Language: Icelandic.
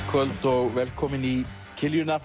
kvöld og velkomin í